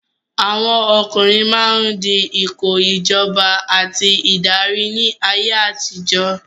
Àwọn ọkùnrin máa ń di ipò ìjọba àti ìdarí ní ayé àtijọ́.